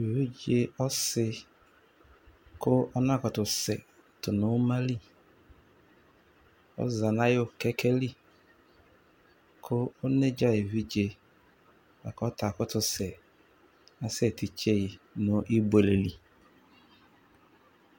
Evidze ɔsi kʋ ɔnakutusɛ tʋ nʋ uma li, ɔza n'ayʋ kɛkɛ li kʋ onedza evidze bua k'ɔta akʋtʋ se, asɛ tsitsi yi nʋ ibuele li